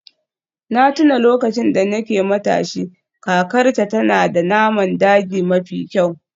Na tuna lokacin da nake matashi, kakarta tana da naman daji mafi kyau.